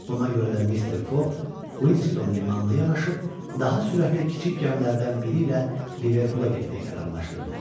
Buna görə də Mister Foq Quinston limanına yanaşıb daha sürətli kiçik gəmilərdən biri ilə Liverpula getmək qərarlaşdırdı.